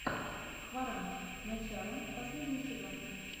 хваран начало последний сезон